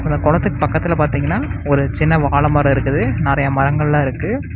இந்த கொளத்துக்கு பக்கத்ல பாத்திங்கன்னா ஒரு சின்ன வாழமர இருக்குது. நெறைய மரங்கள்லா இருக்கு.